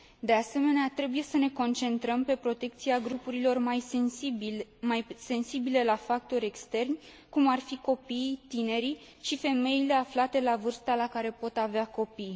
De asemenea, trebuie să ne concentrăm pe protecția grupurilor mai sensibile la factori externi, cum ar fi copiii, tinerii și femeile aflate la vârsta la care pot avea copii.